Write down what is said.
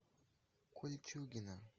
кольчугино